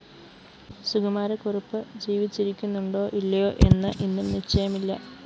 സുകുമാരക്കുറുപ്പ് ജീവിച്ചിരിക്കുന്നുണ്ടോ ഇല്ലയോ എന്ന് ഇന്നും നിശ്ചയമില്ല